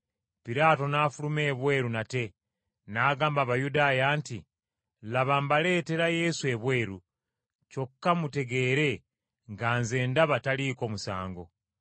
Piraato n’afuluma ebweru nate, n’agamba Abayudaaya nti, “Laba, mbaleetera Yesu ebweru, kyokka mutegeere nga nze ndaba taliiko musango.”